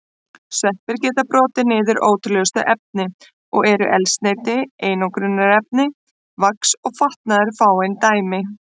Sveppir geta brotið niður ótrúlegustu efni og eru eldsneyti, einangrunarefni, vax og fatnaður fáein dæmi.